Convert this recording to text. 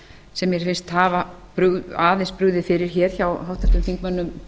sem mér finnst aðeins hafa brugðið fyrir hjá háttvirtum þingmönnum